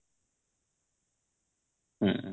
ହୁଁ